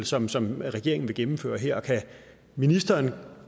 som som regeringen vil gennemføre her kan ministeren